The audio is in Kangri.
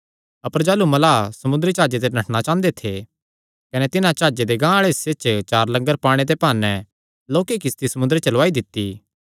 अपर जाह़लू मल्लाह समुंदरी जाह्जे ते नठणा चांह़दे थे कने तिन्हां जाह्जे दे गांह हिस्से च लंगर पाणे दे भाने लोक्की किस्ती समुंदरे च लौआई दित्ती